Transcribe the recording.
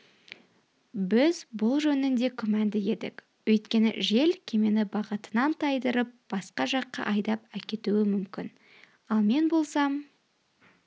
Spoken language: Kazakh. біз бұл жөнінде күмәнді едік өйткені жел кемені бағытынан тайдырып басқа жаққа айдап әкетуі мүмкін ал мен болсам